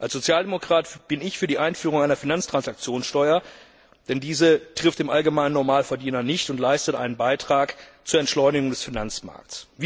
Als Sozialdemokrat bin ich für die Einführung einer Finanztransaktionssteuer, denn diese trifft im allgemeinen Normalverdiener nicht und leistet einen Beitrag zur Entschleunigung des Finanzmarkts.